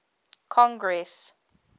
congress